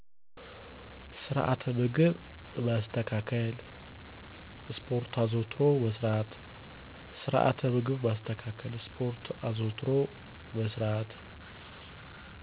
ስርዐት ምግብ ማስተካከል ስፖርት አዘዉትሮ መስራት